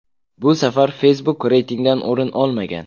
Bu safar Facebook reytingdan o‘rin olmagan.